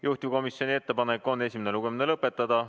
Juhtivkomisjoni ettepanek on esimene lugemine lõpetada.